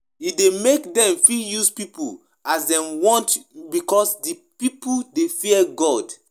E de make di leaders feel like say na wetin dem talk be di correct one another persin na fake